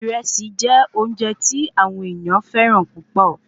Ìrẹsì jẹ óúnje tí àwọn ènìyàn féràn púpò